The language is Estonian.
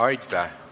Aitäh!